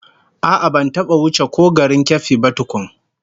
A'a, ban taba ko wuce garin Keffi ba tkun